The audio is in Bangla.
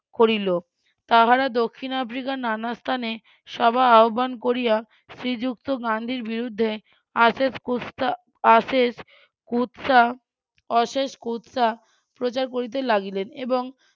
করিল তাহারা দক্ষিণ আফ্রিকার নানা স্থানে সভা আহ্বান করিয়া শ্রীযুক্ত গান্ধির বিরুদ্ধে আশেষ কুৎসা আশেষ কুৎসা অশেষ কুৎসা প্রচার করিতে লাগিলেন এবং